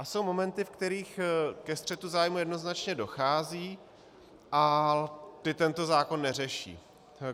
A jsou momenty, v kterých ke střetu zájmů jednoznačně dochází a ty tento zákon neřeší.